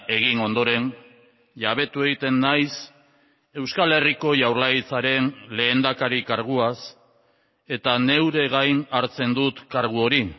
egin ondoren jabetu egiten naiz euskal herriko jaurlaritzaren lehendakari karguaz eta neure gain hartzen dut kargu hori